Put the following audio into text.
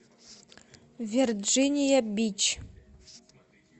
верджиния бич